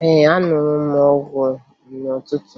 Ee, aṅụrụ m ọgwụ n'ụtụtụ